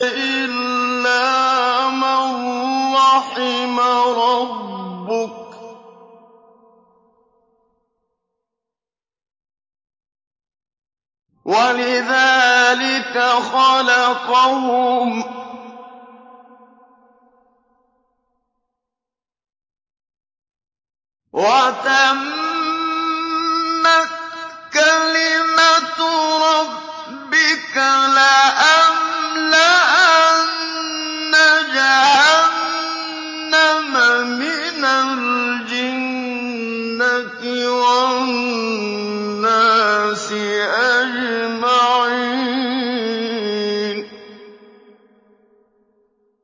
إِلَّا مَن رَّحِمَ رَبُّكَ ۚ وَلِذَٰلِكَ خَلَقَهُمْ ۗ وَتَمَّتْ كَلِمَةُ رَبِّكَ لَأَمْلَأَنَّ جَهَنَّمَ مِنَ الْجِنَّةِ وَالنَّاسِ أَجْمَعِينَ